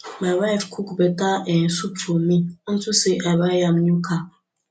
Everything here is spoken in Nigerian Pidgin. my wife cook beta um soup for me unto say i buy am new car